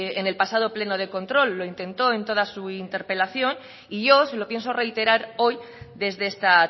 en el pasado pleno de control lo intentó en toda su interpelación y yo se lo pienso reiterar hoy desde esta